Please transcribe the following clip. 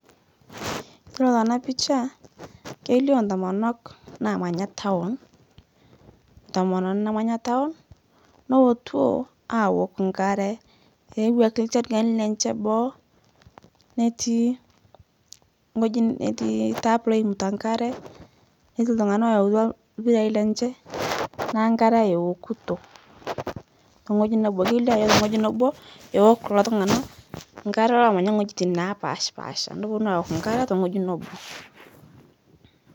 Kore tana pichaa keilio ntomonok namanya town ntomononi namanya town nootuo awok nkaree eewaki nchergeni lenshe boo netii ng'oji, netii tap loimuta nkare netii ltung'ana oyeutua lpirai lenshe naa nkare eokutoo teng'oji nebo keilio ajo teng'oji nebo ewok kuloo tung'ana nkare lomanya ng'pojitin napashpaasha noponu awok nkare teng'oji nobo.